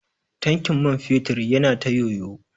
Tankin man fetur yana ta yoyo.